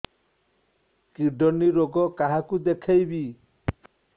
kidney ରୋଗ କାହାକୁ ଦେଖେଇବି